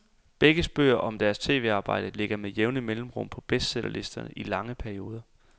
Begges bøger om deres tv-arbejder ligger med jævne mellemrum på bestsellerlisterne i lange perioder.